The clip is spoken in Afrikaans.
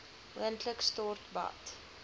moontlik stort bad